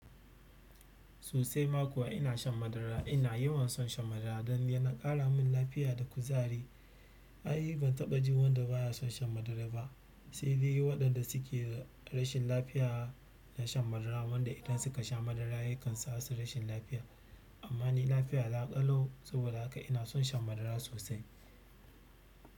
Sosai ma kuwa ina shan madara. Ina yawan son shan madara don neman ƙara min lafiya da kuzari. Ai, ban taɓa ji wanda ba ya son shan madara ba. Sai dai waɗanda suke rashin lafiya na shan madara, wanda idan suka sha madara ya kan sa su rashin lafiya. Amma ni lafiya na ƙalau. Saboda haka ina son shan madara sosai.